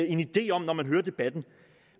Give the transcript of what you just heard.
en idé om når man hører debatten